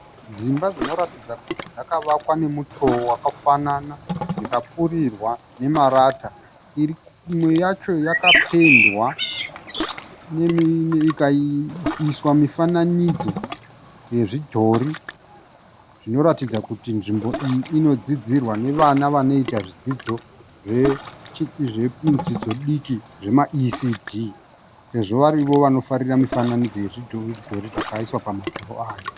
Dzimba dzinoratidza kuti dzakavakwa nemutoo wakafanana, dzikapfurirwa nemarata, imwe yacho yakapendwa ikaiswa mifananidzo yezvidhori zvinoratidza kuti nzvimbo iyi inodzidzirwa nevana vanoita zvidzidzo zvedzidzo diki zvemaECD, sezvo vari ivo vanofarira mifananidzo yakaiswa pamadziro aya.